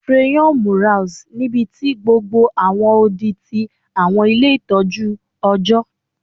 Crayon murals nibiti gbogbo awọn odi ti awọn ile itọju ọjọ